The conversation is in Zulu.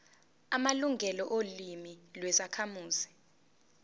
amalungelo olimi lwezakhamuzi